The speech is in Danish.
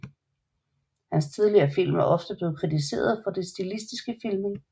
Hans tidligere film er ofte blevet kritiseret for den stilistiske filmning